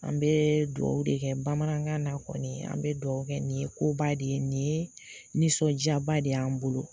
An be dugawu de kɛ bamanankan na kɔni an be dugawu kɛ nin ye koba de ye ni nin ye sɔnjaba de y' an bolo